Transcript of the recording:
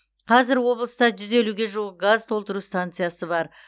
қазір облыста жүз елуге жуық газ толтыру станциясы бар